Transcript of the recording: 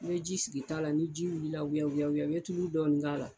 I bɛ ji sigi t'a la ni ji wulila wuyawuya i bɛ tulu dɔnnin k'a la.